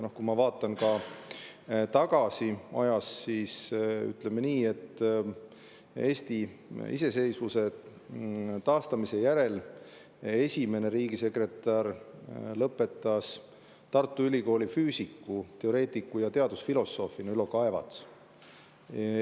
Kui ma vaatan ajas tagasi, siis ütleme nii, et Eesti iseseisvuse taastamise järel esimene riigisekretär oli Tartu Ülikooli lõpetanud füüsik, teoreetik ja teadusfilosoof Ülo Kaevats.